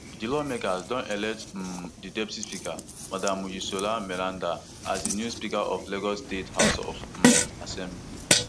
di lawmakers don elect um di deputy speaker madam mojisola meranda as di new speaker of lagos state house of um assembly